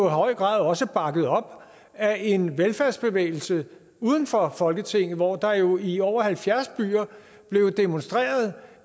i høj grad også bakket op af en velfærdsbevægelse uden for folketinget hvor der jo i over halvfjerds byer blev demonstreret